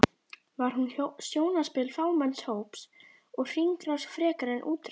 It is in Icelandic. Var hún sjónarspil fámenns hóps og hringrás frekar en útrás?